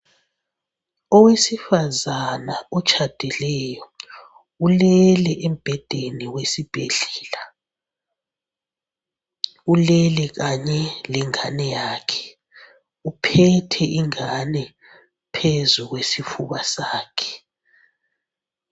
Owesifazana otshadileyo, ulele embhedeni wesibhedlela. Ulele kanye lengane yakhe . Uphethe ingane phezu kwesifuba sakhe.